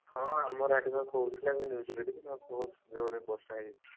ହଁ ଆମର ଆଡେ ବା କହୁଥିଲା news ଯାହା ରେ ବୋହୁତ ଜୋରେ ବର୍ଷା ହଉଚି।